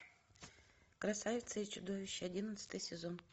красавица и чудовище одиннадцатый сезон